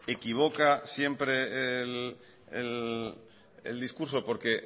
equivoca siempre el discurso porque